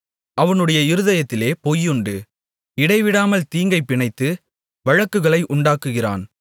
அவனுடைய இருதயத்திலே பொய்யுண்டு இடைவிடாமல் தீங்கைப் பிணைத்து வழக்குகளை உண்டாக்குகிறான்